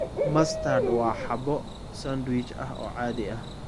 Mustard waa xabo sandwich ah oo caadi ah.